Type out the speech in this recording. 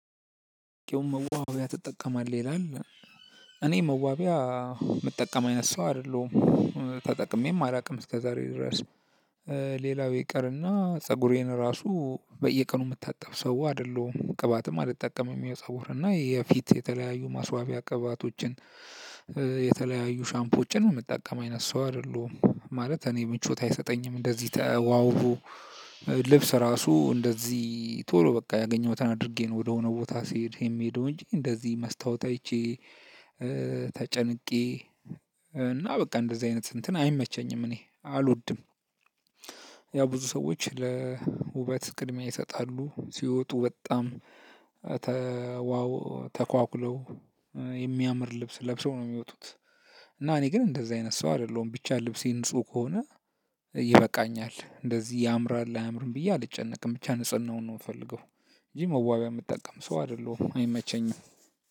መዋቢያ ትጠቀማለህ ይላል እኔ መዋቢያ የምጠቀም አይነት ሰው አይደለሁም ተጠቅሜም አላውቅም እስከ ዛሬ ድረስ። ሌላው ይቅርና ፀጉሬን እራሱ በየቀኑ የምታጠብ ሰው አይደለሁም ቅባትም አልጠቀምም የፀጉር እና የፊት የተለያዩ ማስዋቢያ ቅባቶችን። የተለያዩ ሻምፖችን የምጠቀም አይነት ሰው አይደለሁም ማለት እኔ ምቾት አይሰጠኝም እንደዚህ ተዋውዎ። ልብስ እራሱ እንደዚህ ቶሎ በቃ ያገኘሁትን አድርጌ ነው ወደ ሆነ ቦታ ሲሄድ የሚሄደው እንጂ እንደዚህ መስተዋወት አይቼ። ተጨንቄ እና በቃ እንደዚህ አይነት እንትን አይመቸኝም እኔ አልወድም። ያው ብዙ ሰዎች ለውበት ቅድሚያ ይሰጣሉ። ሲወጡ በጣም ተዋው ተኳኩለው የሚያምር ልብስ ለብሰው ነው የሚወጡት። እና እኔ ግን እንደዚህ አይነት ሰው አይደለሁም ብቻ ልብሴ ንጹህ ከሆነ ይበቃኛል። እንደዚህ ያምራል አያምርም ብዬ አልጨነቅም ብቻ ንጽህናውን ነው የምፈልገው። እንጂ መዋቢያ የምጠቀም ሰው አይደለሁም አይመቸኝም።